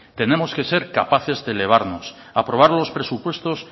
tenemos que ser capaces de elevarnos aprobar los presupuestos